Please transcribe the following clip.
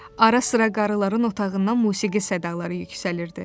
Ara sıra qarıların otağından musiqi sədaları yüksəlirdi.